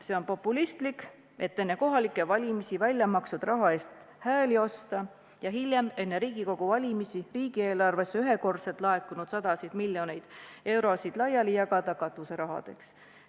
See on populistlik, enne kohalikke valimisi väljamakstud raha eest hääli osta ja hiljem, enne Riigikogu valimisi riigieelarvesse ühekordselt laekunud sadu miljoneid eurosid laiali jagada katuserahaks.